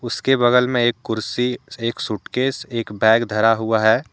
उसके बगल में एक कुर्सी एक सूटकेस एक बैग धारा हुआ है।